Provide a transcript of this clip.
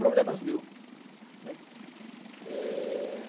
Problemas mil, né? É...